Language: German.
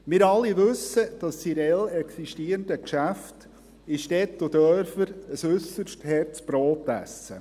Wir alle wissen, dass die real existierenden Geschäfte in Städten und Dörfern ein äusserst hartes Brot essen.